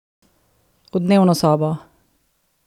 V dnevno sobo!